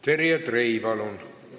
Terje Trei, palun!